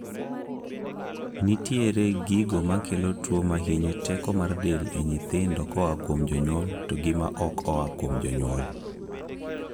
Nitiere gigo makelo tuo mahinyo teko mar del e nyithindo koa kuom jonyuol to gima ok oa kuom jonyuol